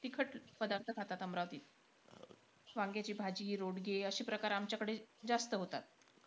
तिखट पदार्थ खातात अमरावतीत. वांग्याची भाजी, रोटगे अशे प्रकार आमच्याकडे जास्त होतात.